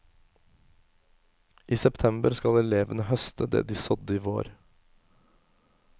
I september skal elevene høste det de sådde i vår.